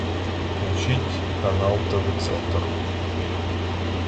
включить канал тв центр